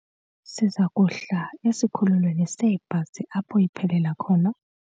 Siza kuhla esikhululweni seebhasi apho iphelela khona.